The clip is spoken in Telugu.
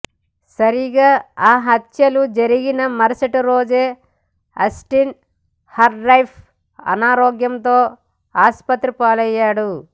సరిగ్గా ఆ హత్యలు జరిగిన మరుసటి రోజు అస్టిన్ హర్రౌఫ్ అనారోగ్యంతో ఆస్పత్రి పాలయ్యాడు